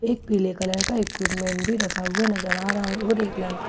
पीले कलर का इक्विपमेंट भी रखा हुआ नजर आ रहा है और एक लाल--